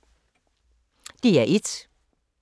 DR1